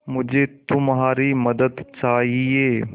मुझे तुम्हारी मदद चाहिये